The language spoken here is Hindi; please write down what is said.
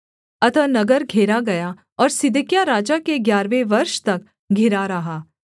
अतः नगर घेरा गया और सिदकिय्याह राजा के ग्यारहवें वर्ष तक घिरा रहा